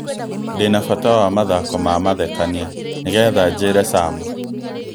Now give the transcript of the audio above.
Ndĩ na bata wa mathako ma mathekania nĩgetha njĩre Sam